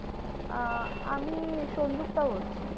আহ আমি সংযুক্তা বলছি।